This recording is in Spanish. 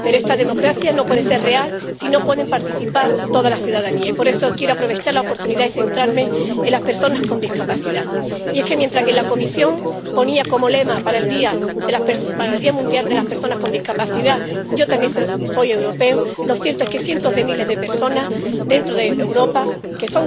Pero esta democracia no puede ser real si no puede participar toda la ciudadanía, y por eso quiero aprovechar la oportunidad y centrarme en las personas con discapacidad. Y es que, mientras la Comisión ponía como lema para el Día Internacional de las Personas con Discapacidad Yo también soy europeo, lo cierto es que cientos de miles de personas en Europa que